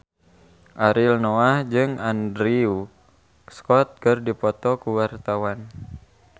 Ariel Noah jeung Andrew Scott keur dipoto ku wartawan